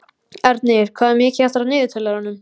Ernir, hvað er mikið eftir af niðurteljaranum?